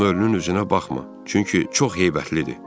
Amma ölünün üzünə baxma, çünki çox heybətlidir."